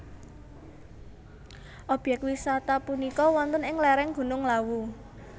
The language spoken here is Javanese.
Obyek wisata punika wonten ing lereng Gunung Lawu